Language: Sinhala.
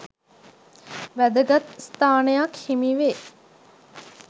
වැදගත් ස්ථානයක් හිමි වේ.